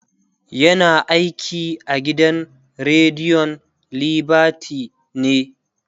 yana aiki a gidan rediyon liberty ne